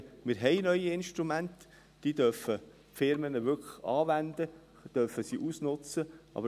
Wir können sagen, dass wir neue Instrumente haben, welche die Unternehmen wirklich anwenden und ausnützen dürfen.